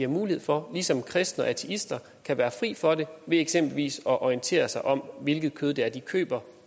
mulighed for ligesom kristne og ateister kan være fri for det ved eksempelvis at orientere sig om hvilket kød det er de køber